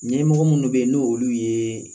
Ɲɛmɔgɔ minnu bɛ yen n' olu ye